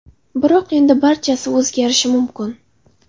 Biroq endi barchasi o‘zgarishi mumkin.